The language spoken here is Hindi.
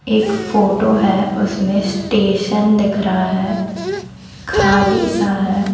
एक फोटो है उसमें स्टेशन दिख रहा है खाली सा है।